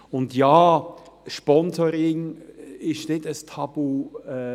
Und ja, Sponsoring ist kein Tabu.